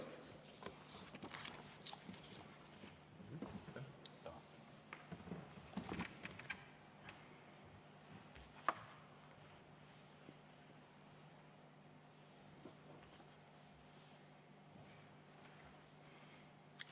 Aitäh!